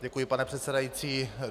Děkuji, pane předsedající.